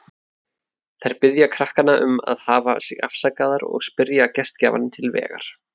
Þær biðja krakkana um að hafa sig afsakaðar og spyrja gestgjafann til vegar.